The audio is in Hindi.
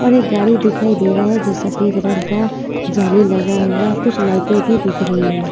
और एक गाडी दिखाई दे रहा है जो सफ़ेद रंग का जाली लगा हुआ कुछ लाइटें भी दिख रही है।